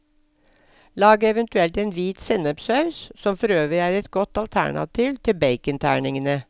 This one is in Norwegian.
Lag eventuelt en hvit sennepssaus, som forøvrig er et godt alternativ til baconterningene.